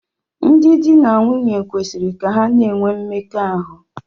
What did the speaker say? Ndị di na nwunye kwesịrị ka ha na-enwe mmekọahụ.